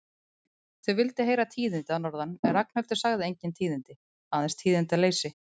Þau vildu heyra tíðindi að norðan en Ragnhildur sagði engin tíðindi, aðeins tíðindaleysi.